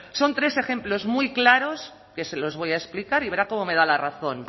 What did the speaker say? son tres ejemplos muy claros que se les voy a explicar y verá cómo me da la razón